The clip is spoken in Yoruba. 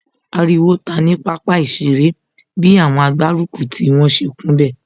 Ariwo ta ní pápá ìṣeré bi àwọn agbárùkùtì wọn ṣe kún bẹ̀